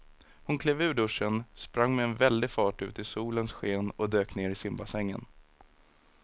Hon klev ur duschen, sprang med väldig fart ut i solens sken och dök ner i simbassängen.